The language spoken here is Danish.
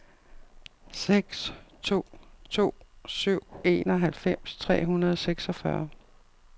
seks to to syv enoghalvfems tre hundrede og seksogfyrre